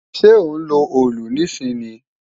Ṣẹ́ ó ń lo òòlù níìsín ni?